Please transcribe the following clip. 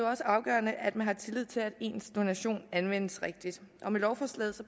også afgørende at man har tillid til at ens donation anvendes rigtigt og med lovforslaget